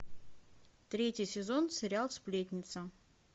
третий сезон сериал сплетница